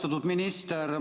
Austatud minister!